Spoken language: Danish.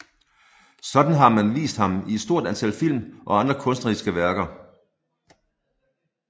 Sådan har man vist ham i et stort antal film og andre kunstneriske værker